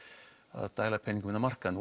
að dæla peningum inn á markaðinn